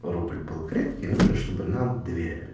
рубль был крепкий нужно чтобы нам доверяли